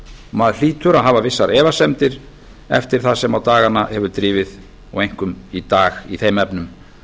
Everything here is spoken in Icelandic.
maður hlýtur að hafa vissar efasemdir eftir það sem á dagana hefur drifið og einkum í dag í þeim efnum